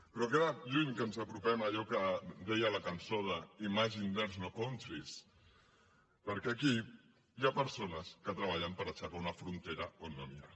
però ha quedat lluny que ens apropem a allò que deia la cançó de imagine there’s no countries perquè aquí hi ha persones que treballen per aixecar una frontera on no n’hi ha